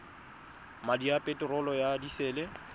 madi a peterolo ya disele